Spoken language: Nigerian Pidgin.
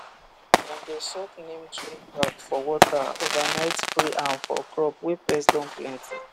dem dey soak neem tree back for water overnight spray am for crop wey pest don plenty